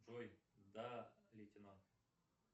джой да лейтенант